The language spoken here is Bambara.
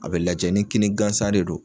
A bɛ lajɛ ni kini gansan de don.